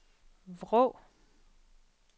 Vrå